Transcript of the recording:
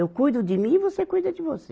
Eu cuido de mim e você cuida de você.